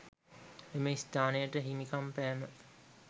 එම ස්ථානයට හිමිකම් පෑම